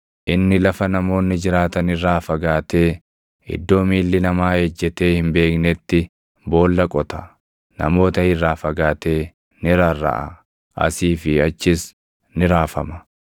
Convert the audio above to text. Inni lafa namoonni jiraatan irraa fagaatee iddoo miilli namaa ejjetee hin beeknetti boolla qota; namoota irraa fagaatee ni rarraʼa; asii fi achis ni raafama.